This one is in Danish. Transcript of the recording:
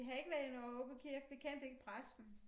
Vi havde ikke været i Nørre Aaby Kirke vi kendte ikke præsten